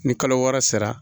Ni kalo wɔɔrɔ sera